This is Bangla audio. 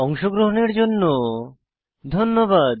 অংশগ্রহণের জন্য ধন্যবাদ